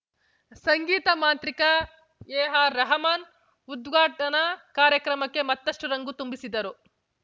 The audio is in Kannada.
ಸಂಗೀತ ಮಾಂತ್ರಿಕ ಎಆರ್‌ರೆಹಮಾನ್‌ ಉದ್ಘಾಟನಾ ಕಾರ್ಯಕ್ರಮಕ್ಕೆ ಮತ್ತಷ್ಟುರಂಗು ತುಂಬಿದರು